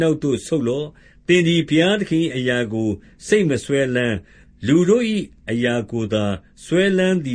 နောက်သို့ ဆုတ်လော့၊ သင်သည်ဘုရားသခင်၏ အရာကို စိတ်မစွဲလမ်း၊ လူတို့၏ အရာကို သာစွဲလမ်း သည